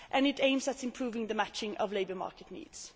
This aims at improving the matching of labour market needs.